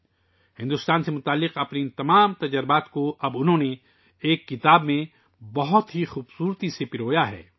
اب انہوں نے بھارت سے متعلق ان تمام تجربات کو ایک کتاب میں بہت خوبصورتی سے جمع کیا ہے